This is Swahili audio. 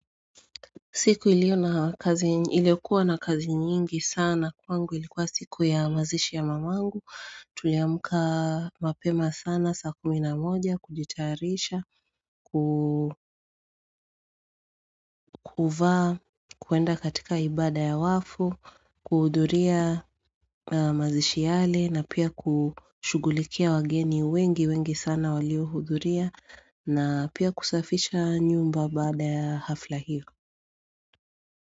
Siku iliokuwa na kazi nyingi sana kwangu ilikuwa siku ya mazishi ya mamangu Tuliamuka mapema sana saa kumi na moja kujitarisha Kukuvaa, kuenda katika ibada ya wafu, kuhuduria mazishi yale na pia kushugulikia wageni wengi wengi sana walio huduria na pia kusafisha nyumba bada ya hafla hiyo.